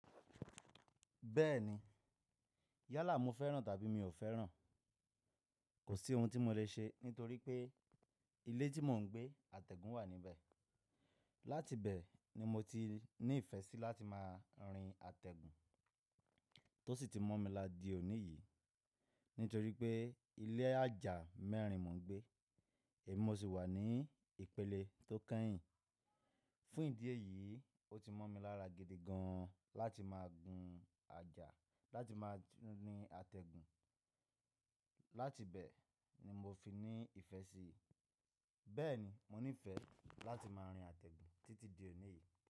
Bẹ́ẹ̀ni, yálà mo fẹ́ràn tàbí mi ò fẹ́ràn, kò sí ohun tí mo lè ṣe nítorí pé ilé tí mò ń gbé atẹ́gùn wà níbẹ̀. Láti bẹ̀ ni mo ti ní ìfẹ́ sí láti máa rin atẹ́gùn tó sì ti mo mi lá di òní yìí. Nítorí pé ilé ajá mẹ́rin mò ń gbé, èmi mo sì wà ní ìpele tó keyìn. Fún ìdí èyí, ó ti mo mi lára gidi gan láti máa gun ajá láti máa rin atẹ́gùn. Láti bẹ̀ ni mo fi ní ìfẹ́ sí i. Bẹ́ẹ̀ni, mo ní ìfẹ́ láti máa rin atẹ́gùn títí di òní yìí.